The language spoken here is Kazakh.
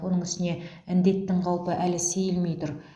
оның үстіне індеттің қаупі әлі сейілмей тұр